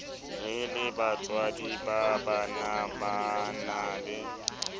re lebatswadi ba banabana le